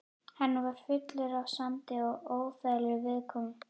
Hann var fullur af sandi og óþægilegur viðkomu.